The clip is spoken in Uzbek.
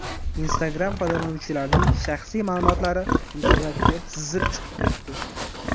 Instagram foydalanuvchilarining shaxsiy ma’lumotlari internetga sizib chiqib ketdi.